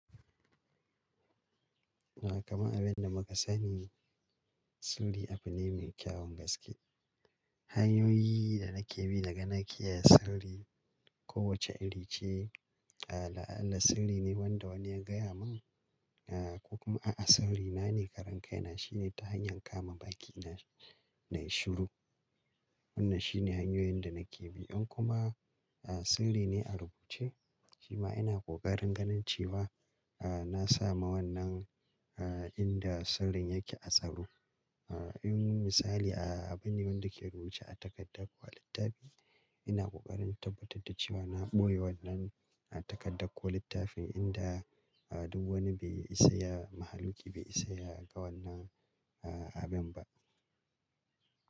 Kaman abin da muka sani sirri abu ne mai kyawun gaske. Hanyoyi da nake bi naga na kiyaye sirri kowace irin ce. A la'ala sirri ne wanda wani ya gaya mun ko kuma a'a sirri na ne karan kai na shine ta hanyar kama baki na, na yi shiru. Wannan shine hanyoyin da nake bi. In kuma sirri ne a rubuce shima ina kokarin ganin cewa ah na sa ma wannan ah inda sirrin yake a tsaro. Ah In misali a abinda-binda ke rubuce a takardan ko a littafi ina kokarin tabbatar da cewa na ɓoye wannan a takarda ko littafi inda ah duk wani bai isa ya, mahaluki bai isa ya ga wannan ah abin ba.